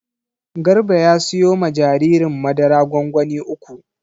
Garba ya siyo ma jaririn madara gwangwani uku.